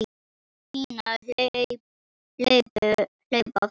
Palli og Pína hlaupa fram.